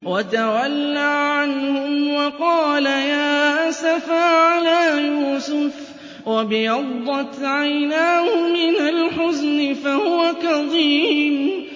وَتَوَلَّىٰ عَنْهُمْ وَقَالَ يَا أَسَفَىٰ عَلَىٰ يُوسُفَ وَابْيَضَّتْ عَيْنَاهُ مِنَ الْحُزْنِ فَهُوَ كَظِيمٌ